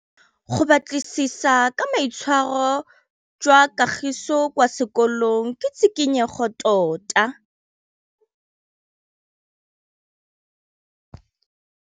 Go batlisisa ka boitshwaro jwa Kagiso kwa sekolong ke tshikinyêgô tota.